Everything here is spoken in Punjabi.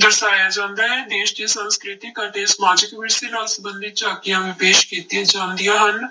ਦਰਸਾਇਆ ਜਾਂਦਾ ਹੈ ਦੇਸ ਦੇ ਸੰਸਕ੍ਰਿਤਿਕ ਅਤੇ ਸਮਾਜਿਕ ਵਿਰਸੇ ਨਾਲ ਸੰਬੰਧਿਤ ਝਾਕੀਆਂ ਵੀ ਪੇਸ ਕੀਤੀਆਂ ਜਾਂਦੀਆਂ ਹਨ